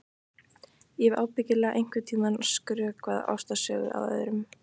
Ég hef ábyggilega einhvern tíma skrökvað ástarsögu að öðrum.